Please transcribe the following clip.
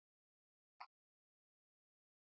Vala og Bogga sátu og töldu flöskurnar aftur og aftur.